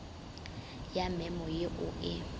ya memo ye o e